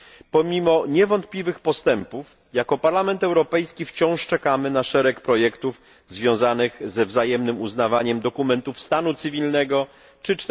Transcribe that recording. Pomimo niewątpliwych postępów jako Parlament Europejski wciąż czekamy na szereg projektów związanych ze wzajemnym uznawaniem dokumentów stanu cywilnego czy